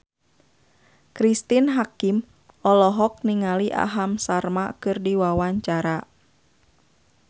Cristine Hakim olohok ningali Aham Sharma keur diwawancara